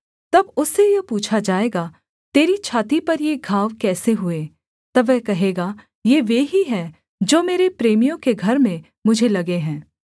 तब उससे यह पूछा जाएगा तेरी छाती पर ये घाव कैसे हुए तब वह कहेगा ये वे ही हैं जो मेरे प्रेमियों के घर में मुझे लगे हैं